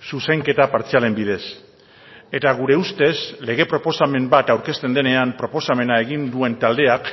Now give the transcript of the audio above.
zuzenketa partzialen bidez eta gure ustez lege proposamen bat aurkezten denean proposamena egin duen taldeak